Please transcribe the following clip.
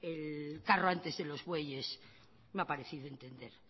el carro antes de los bueyes me ha parecido entender